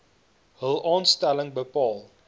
hul aanstelling bepaal